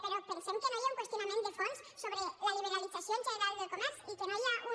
però pensem que no hi ha un qüestionament de fons sobre la liberalització en general del comerç i que no hi ha un